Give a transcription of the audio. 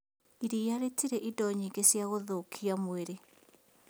Iriia rĩtirĩ indo nyingĩ cia gũthũkia mwĩrĩ